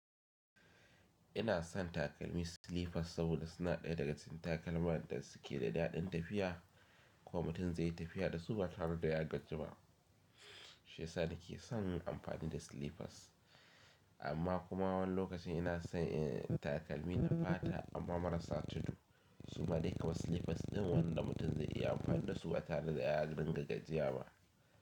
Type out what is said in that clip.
Ina son takalmi slippers saboda suna ɗaya daga cikin takalma da suke da daɗin tafiya. Ko mutum zai yi tafiya da su ba tare da ya gaji ba. Shiyasa na ke son yin amfani da slippers. Amma kuma wani lokacin ina son takalmi na fata amma marasa tudu. Su ma dai kamar slippers ɗin wanda mutum zai iya amfani da su ba tare da ya ringa gajiyaba.